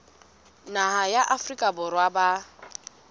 naha ya afrika borwa ba